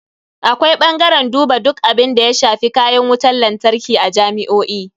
Akwai bangaren duba duk abunda ya shafi kayan wutan lantarki a jami'o'i.